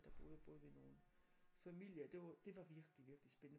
Der boede jeg både ved nogle familier det var det var virkelig virkelig spændende